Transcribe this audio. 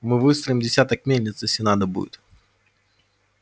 мы выстроим десяток мельниц если надо будет